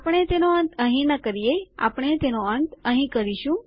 આપણે તેનો અંત અહીં નહીં કરીએ આપણે તેનો અંત અહીં કરીશું